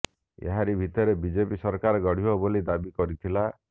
ଏହାରି ଭିତରେ ବିଜେପି ସରକାର ଗଢ଼ିବ ବୋଲି ଦାବି କରିଥିଲା